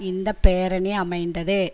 இந்த பேரணி அமைந்தது